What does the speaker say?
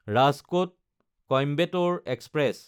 ৰাজকোট–কইম্বেটৰে express